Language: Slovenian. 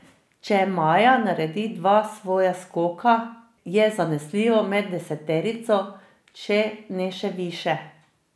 Če Maja naredi dva svoja skoka, je zanesljivo med deseterico, če ne še višje.